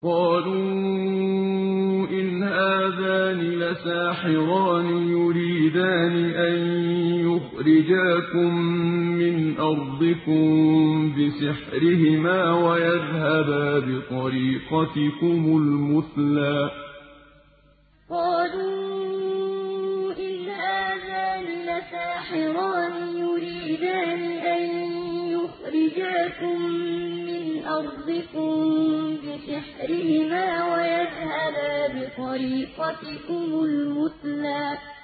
قَالُوا إِنْ هَٰذَانِ لَسَاحِرَانِ يُرِيدَانِ أَن يُخْرِجَاكُم مِّنْ أَرْضِكُم بِسِحْرِهِمَا وَيَذْهَبَا بِطَرِيقَتِكُمُ الْمُثْلَىٰ قَالُوا إِنْ هَٰذَانِ لَسَاحِرَانِ يُرِيدَانِ أَن يُخْرِجَاكُم مِّنْ أَرْضِكُم بِسِحْرِهِمَا وَيَذْهَبَا بِطَرِيقَتِكُمُ الْمُثْلَىٰ